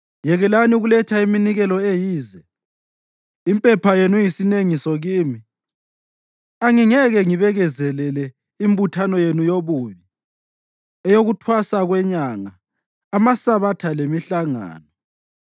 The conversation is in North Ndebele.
Yekelani ukuletha iminikelo eyize! Impepha yenu iyisinengiso kimi. Angingeke ngibekezelele imbuthano yenu yobubi, eyokuThwasa kweNyanga, amaSabatha lemihlangano.